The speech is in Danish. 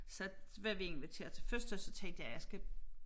Så var vi inviteret til fødselsdag så tænkte jeg jeg skal